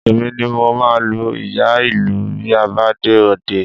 Èmi ni mo máa lu ìyá-ìlù bí a bá dé òde